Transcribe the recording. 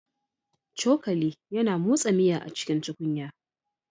Cokali yana motsa miya a cikin tukunya